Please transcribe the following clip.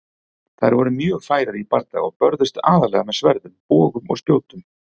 Þær voru mjög færar í bardaga og börðust aðallega með sverðum, bogum og spjótum.